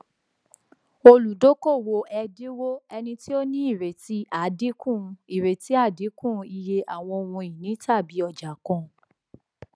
olùdókòwò ẹdínwó ẹni tí ó ní ìrètí àdínkù ìrètí àdínkù iye àwọn ohunìní tàbí ọjà kan